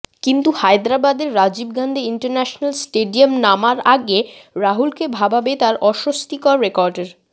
কিন্তু হায়দরাবাদের রাজীব গান্ধী ইন্টারন্যাশনাল স্টেডিয়ামে নামার আগে রাহুলকে ভাবাবে তাঁর অস্বস্তিকর রেকর্ডের